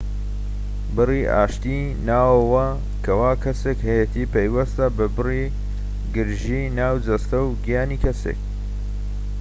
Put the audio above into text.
بڕی ئاشتی ناوەوە کەوا کەسێک هەیەتی پەیوەستە بە بڕی گرژیی ناو جەستە و گیانی کەسێک